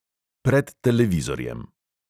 Pred televizorjem.